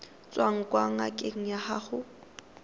tswang kwa ngakeng ya gago